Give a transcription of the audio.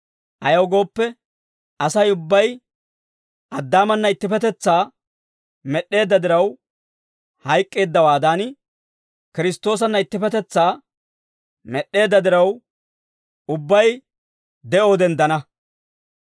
Ayaw gooppe, Asay ubbay Addaamana ittippetetsaa med'd'eedda diraw hayk'k'eeddawaadan, Kiristtoosanna ittippetetsaa med'd'eedda diraw, ubbay de'oo denddana.